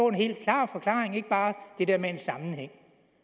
en helt klar forklaring ikke bare det der med en sammenhæng